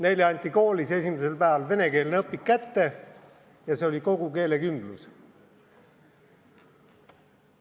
Neile anti koolis esimesel päeval venekeelne õpik kätte ja see oli kogu keelekümblus.